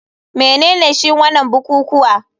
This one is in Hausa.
Menene shi wanan bukukuwa,